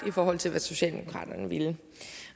i forhold til hvad socialdemokraterne ville